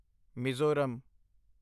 Mizoram